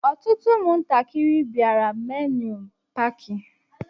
Ọtụtụ ụmụ ntakịrị bịara milenium Paaki.